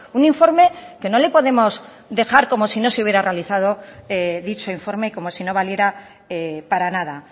un informe que no le podemos dejar como si no se hubiera realizado dicho informe como si no valiera para nada